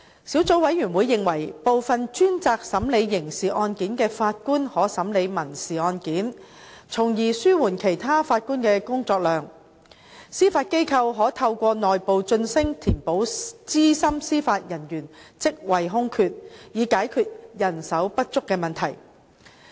小組委員會認為，部分專責審理刑事案件的法官可審理民事案件，從而紓緩其他法官的工作量；司法機構可透過內部晉升填補資深司法人員職位空缺，以解決人手不足的問題。